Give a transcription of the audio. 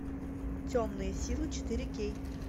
темные силы четыре кей